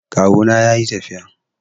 Kawuna ya yi tafiya.